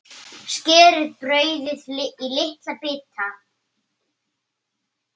Skerið brauðið í litla bita.